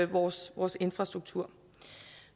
vores vores infrastruktur